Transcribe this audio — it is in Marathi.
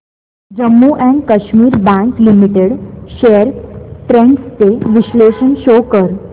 Jammu and Kashmir bank limited shares trends चे विश्लेषण शो कर